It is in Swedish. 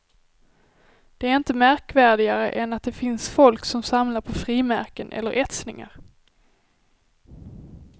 Det är inte märkvärdigare än att det finns folk som samlar på frimärken eller etsningar.